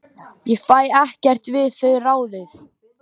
Ég fæ ekkert við þau ráðið.